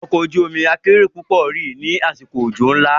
Ọkọ̀ ojú omi akérò púpọ̀ rì lásìkò òjò ńlá.